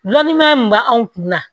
Lɔnni ma mun b'anw kun na